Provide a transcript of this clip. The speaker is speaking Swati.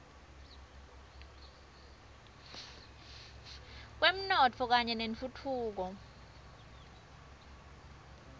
kwemnotfo kanye nentfutfuko